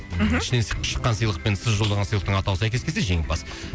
мхм ішінен с шыққан сыйлық пен сіз жолдаған сыйлықтың атауы сәйкес келсе жеңімпаз